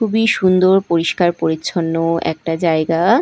খুবই সুন্দর পরিষ্কার পরিচ্ছন্ন একটা জায়গা।